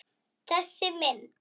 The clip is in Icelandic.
Þessi mynd